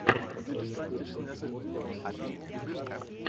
ливерпуль против уотфорда найти матч